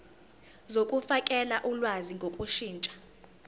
zokufakela ulwazi ngokushintsha